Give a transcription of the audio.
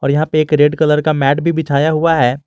और यहां पे एक रेड कलर का मैट भी बिछाया हुआ है।